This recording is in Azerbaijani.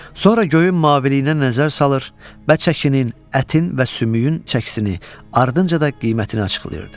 sonra göyün maviliyinə nəzər salır, və çəkinin, ətin və sümüyün çəkisini, ardınca da qiymətini açıqlayırdı.